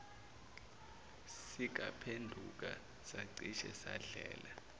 sikaphenduka sacishe sadlela